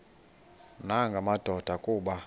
nanga madoda kuba